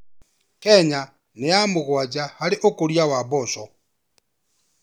Kenya nĩ ya mũgwanja harĩ ũkũria wa mboco.